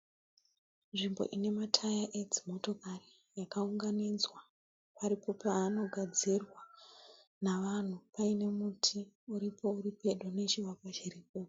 Nzimbo ine mataya edzimotokari akaunganidzwa ari kupiwa vanogadzira nevanhu uye nemiti iri pedo pedo nepo